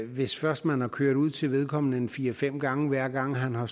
hvis først man har kørt ud til vedkommende en fire fem gange hver gang han har